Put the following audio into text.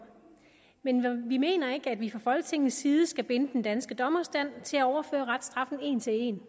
men vi mener ikke at vi fra folketingets side skal binde den danske dommerstand til at overføre reststraffen en til en